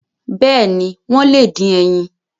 Bẹ́ẹ̀ni, wọ́n lè dín ẹyin.